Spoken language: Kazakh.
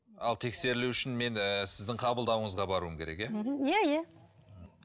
ал тексерілу үшін мен ыыы сіздің қабылдауыңызға баруым керек иә иә иә